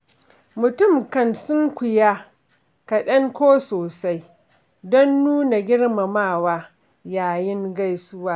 Mutum kan sunkuya kaɗan ko sosai, don nuna girmamawa yayin gaisuwa.